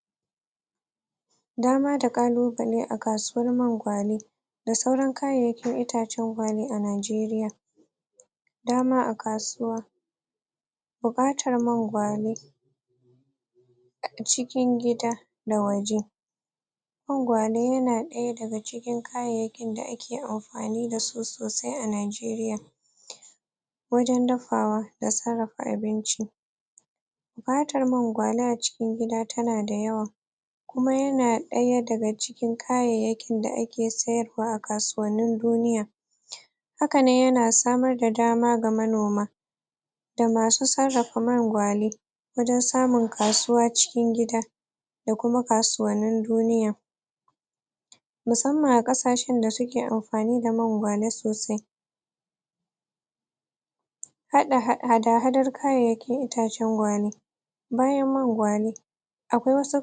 Shin, wane yanki ne Inda ebola Tafi Yawaita ko kuma ta yawaita ko kuma ta auko a cikin Kasashe?, Da farko dai najeriya na daya daga cikin yankunan da ebola ta auko Bayan ga haka akwai south africa Akwai nijar Akwai kuma... India akwai kuma.... Wani yanki na america Da kuma Wani yanki na sudan Wadannan yanki dai sun dan samu dan aukuwa Na ebola Wadannan yanki dai ebola tashiga cikin sune a rashin.. La'akari A yayin da wasu matafiya ko kuma wasu Masu gudun hijira suka shiga mata tare da wannan suka shige da cutan Cutan dai Ta yadu ne ta hanyar Yin Watoh riga-kafi a yayin da wasu ko kuma masu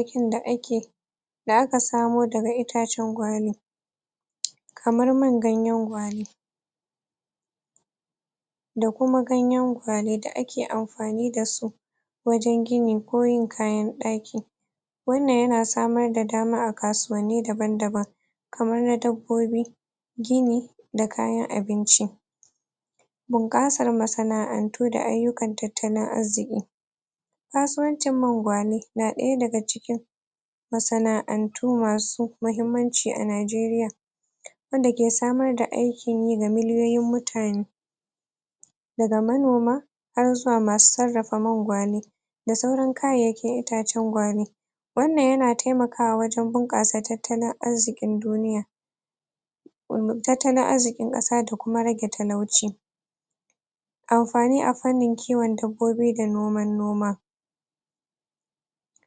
gudun hijira suka shigo da ita najeriya Wanda aka tsince shine a cikin A wani yanki na najeriya kamar su.. Yanki na bauci Wanda ake kiran tada kauyen alkaloli Ita wannnan kauye an tsinci mutane kaman ishirin da bakwai ne suna dauke da cutar A yayin da akayi gargawar kaisu asibiti Aka masu Basu kulawa ta hanyar data dace Bayan ganan kuma an samo labarin Cutar a kasar india A yayin da wata kauye ne take kunshe da mutane talatin da uku Suka dauki wannan cuta suma ta hanyar shigo masu da akayi A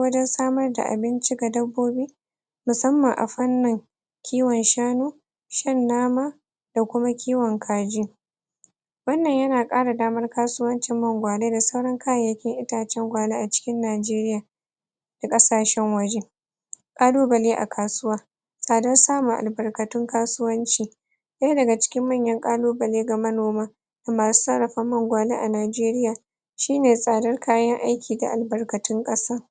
hanyoyin da ake kan bincike da ba'a tabbatar ba Ebola dai tana da matukar hatsari wanda takan linka a cikin mintoci kadan Abinda yasa aka yawaita samun ta saboda rashin yawan riga'kafi A yayin da kuma suka Same ta aka Aka kai'su asibiti ake kuma kulawa dasu Rashin yin riga kafi yana da amtukar Hatsari musamman Musamman ma a yankunan da suka Aka tsince su da yawan ebola Ita ebola wata cuta ce da ake daukar ta, ta ruwan jiki kuma tana da alamomi kamar su yawan gajiya Da yawan amai Da kuma Da kuma bayan gida Yawan bayna gida da rashin kasala da rashin kuzari Da zaran mutum yaji wannan ana bukatar yaje asibiti Kuma ya guji wadannan yakuna da aka ambata da farko Don kare kai daga wannan cuta Wato ta ebola